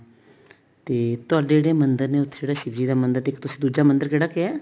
ਤੇ ਤੁਹਾਡੇ ਜਿਹੜੇ ਮੰਦਰ ਨੇ ਉੱਥੇ ਸ਼ਿਵ ਜੀ ਦਾ ਮੰਦਰ ਤੇ ਇੱਕ ਤੁਸੀਂ ਦੂਜਾ ਕਿਹੜਾ ਕਿਹਾ